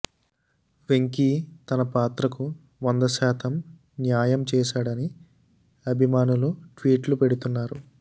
వెంకీ తన పాత్రకు వంద శాతం న్యాయం చేశాడని అభిమానులు ట్వీట్లు పెడుతున్నారు